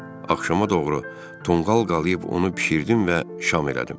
Axşama doğru tonqal qalıb onu bişirdim və şam elədim.